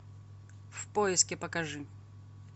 в поиске покажи